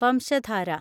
Vamsadhara